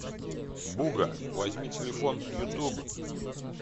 буга возьми телефон ютуб